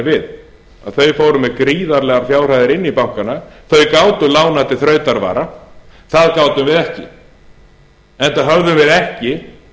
við þau fóru með gríðarlegar fjárhæðir inn í bankana þau gátu lánað til þrautavara það gátum við ekki enda höfðum við ekki